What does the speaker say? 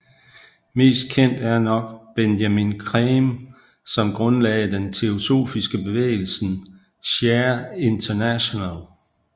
Mest kendt er nok Benjamin Creme som grundlagde den teosofiske bevægelsen Share international